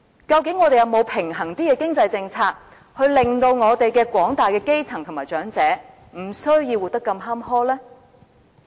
究竟我們是否有較平衡的經濟政策，令到廣大基層和長者不需要活得如此坎坷呢？